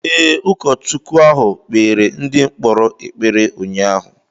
Ee, ụkọchukwu ahụ kpeere ndị mkpọrọ ekpere ụnyaahụ.